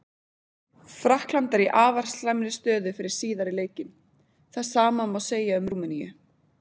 Frakkland er í afar slæmri stöðu fyrir síðari leikinn, það sama má segja um Rúmeníu.